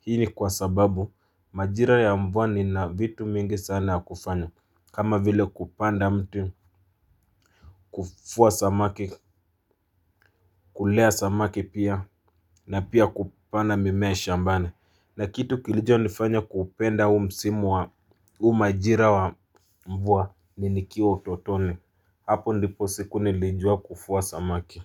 Hii ni kwa sababu majira ya mvua nina vitu mingi sana ya kufanya, kama vile kupanda mti, kuvua samaki, kulea samaki pia na pia kupanda mimea shambani. Na kitu kilichonifanya kuupenda huu majira wa mvua ni nikiwa utotoni. Hapo ndipo siku nilijua kuvua samaki.